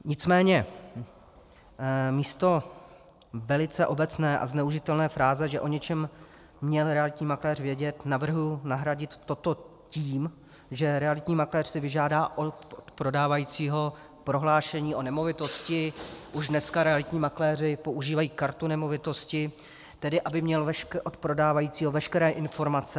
Nicméně místo velice obecné a zneužitelné fráze, že o něčem měl realitní makléř vědět, navrhuji nahradit toto tím, že realitní makléř si vyžádá od prodávajícího prohlášení o nemovitosti; už dneska realitní makléři používají kartu nemovitosti, tedy aby měl od prodávajícího veškeré informace.